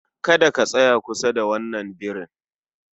Kada ka tsaya kusa da wannan birin